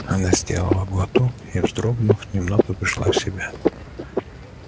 она сделала глоток и вздрогнув немного пришла в себя